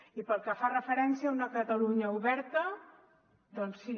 i pel que fa referència a una catalunya oberta doncs sí